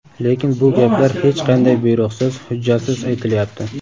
Lekin bu gaplar hech qanday buyruqsiz, hujjatsiz aytilyapti.